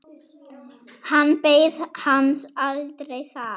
Hann beið hans aldrei þar.